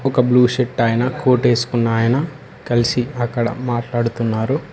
ఒక blue shirt ఆయనా కోటేసుకున్నాయన కలిసి అక్కడ మాట్లాడుతున్నారు.